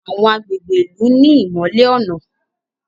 Àwọn agbègbè ilú ní imọlẹ ọnà